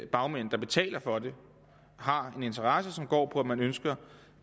bagmænd der betaler for det har en interesse som går på at man ønsker